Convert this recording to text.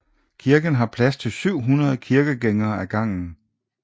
Kirken har plads til 700 kirkegængere ad gangen